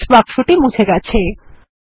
text বাক্সটি মুছে গেছে